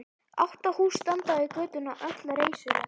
Átta hús standa við götuna, öll reisuleg.